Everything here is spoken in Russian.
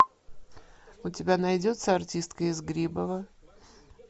у тебя найдется артистка из грибова